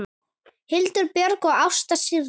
Hildur Björg og Ásta Sirrí.